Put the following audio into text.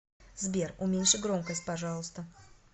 сбер уменьши громкость пожалуйста